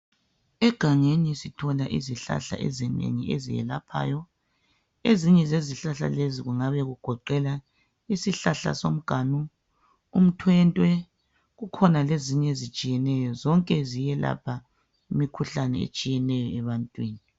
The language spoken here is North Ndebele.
Egangeni sithola izihlahla ezinengi ezelaphayo ezinye zezihlahla lezi kungabe kugoqela isihlahla somganu ,umthwentwe kukhona lezinye ezitshiyeneyo zonke ziyelapha imikhuhlane etshiyeneyo ebantwini.